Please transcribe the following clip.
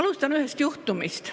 Alustan ühest juhtumist.